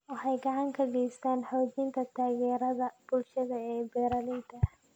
Waxay gacan ka geysataa xoojinta taageerada bulshada ee beeralayda.